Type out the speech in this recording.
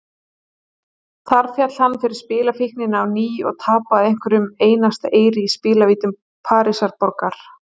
Þar féll hann fyrir spilafíkninni á ný og tapaði hverjum einasta eyri í spilavítum Parísarborgar.